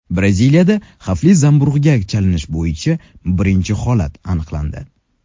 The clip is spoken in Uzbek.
Braziliyada xavfli zamburug‘ga chalinish bo‘yicha birinchi holat aniqlandi.